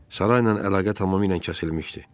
Sarayla əlaqə tamamilə kəsilmişdi.